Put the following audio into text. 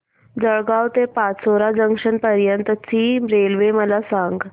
जळगाव ते पाचोरा जंक्शन पर्यंतची रेल्वे मला सांग